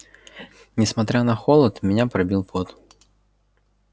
несмотря на холод меня пробил пот